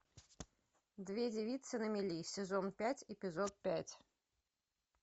две девицы на мели сезон пять эпизод пять